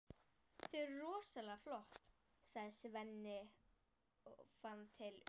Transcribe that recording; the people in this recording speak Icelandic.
Þau eru rosalega flott, sagði Svenni og fann til öfundar.